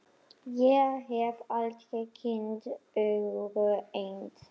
Ég hef aldrei kynnst öðru eins.